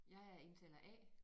Jeg er indtaler A